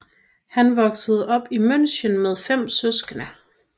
Han voksede op i München med fem søskende